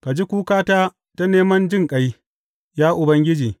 Ka ji kukata ta neman jinƙai, ya Ubangiji.